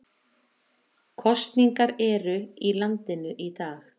Kosningar eru í landinu í dag